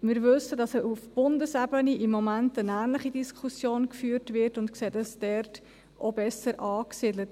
Wir wissen, dass im Moment auf Bundesebene eine ähnliche Diskussion geführt wird, und sehen es dort auch besser angesiedelt.